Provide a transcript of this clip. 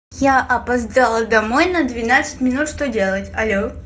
я опоздала домой на двенадцать минут что делать алло